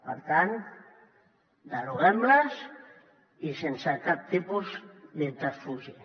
per tant deroguem les i sense cap tipus de subterfugi